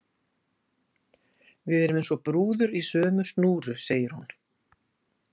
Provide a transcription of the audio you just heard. Við erum eins og brúður í sömu snúru, segir hún.